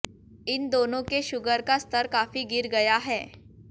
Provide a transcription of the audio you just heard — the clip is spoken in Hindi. इन दोनों के शुगर का स्तर काफी गिर गया है